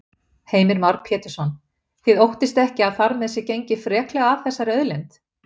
Heimir Már Pétursson: Þið óttist ekki að þar með sé gengið freklega að þessari auðlind?